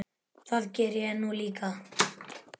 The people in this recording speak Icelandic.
Það geri ég nú líka.